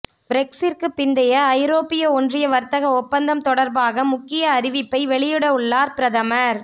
பிரெக்ஸிற்க்கு பிந்தைய ஐரோப்பிய ஒன்றிய வர்த்தக ஒப்பந்தம் தொடர்பாக முக்கிய அறிவிப்பை வெளியிடவுள்ளார் பிரதமர்